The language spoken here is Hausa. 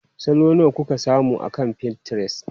Salo nawa kuka samu akan Pinterest?